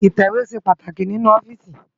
itẹwe ṣé pàtáki ninú òfìsí